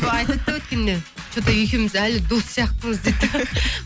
айтады да өткенде че то екеуміз әлі дос сияқтымыз дейді де